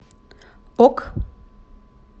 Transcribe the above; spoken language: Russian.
ок